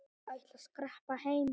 Ég ætla að skreppa heim.